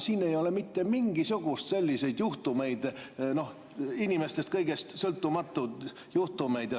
Siin ei ole mitte mingisuguseid selliseid inimestest, firmadest ja kõigest sõltumatuid juhtumeid.